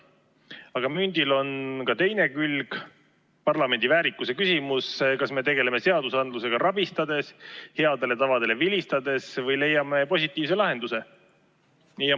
Aga mündil on ka teine külg, parlamendi väärikuse küsimus: kas me tegeleme seadusandlusega rabistades, headele tavadele vilistades või leiame positiivse lahenduse.